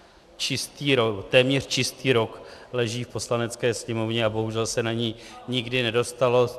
Téměř čistý rok leží v Poslanecké sněmovně a bohužel se na ni nikdy nedostalo.